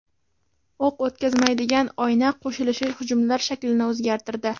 O‘q o‘tkazmaydigan oyna qo‘shilishi hujumlar shaklini o‘zgartirdi.